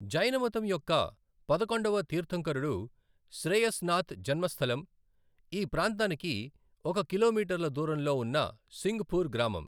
జైనమతం యొక్క పదకొండవ తీర్థంకరుడు శ్రేయస్నాథ్ జన్మస్థలం ఈ ప్రాంతానికి ఒక కిలోమీటర్ల దూరంలో ఉన్న సింఘ్పూర్ గ్రామం.